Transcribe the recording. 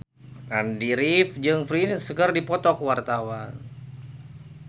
Andy rif jeung Prince keur dipoto ku wartawan